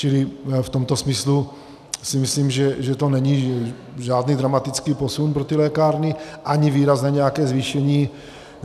Čili v tomto smyslu si myslím, že to není žádný dramatický posun pro ty lékárny ani výraz na nějaké zvýšení...